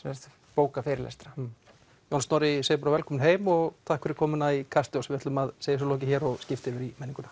bóka fyrirlestra John Snorri ég segi bara velkominn heim og takk fyrir komuna í Kastljós við ætlum að segja þessu lokið og skipta yfir í menninguna